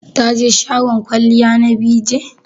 Taje shagon kwalliya na BeeJay?